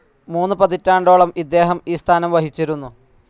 മൂന്ന് പതിറ്റാണ്ടോളം ഇദ്ദേഹം ഈ സ്ഥാനം വഹിച്ചിരുന്നു.